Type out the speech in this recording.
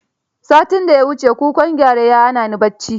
Satin da ya wuce kukan gyare ya hana ni bacci.